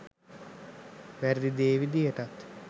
වැරදි දේ විදියටත්